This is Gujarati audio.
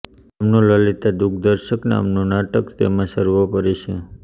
તેમનું લલિતા દુઃખદર્શક નામનું નાટક તેમાં સર્વોપરી છે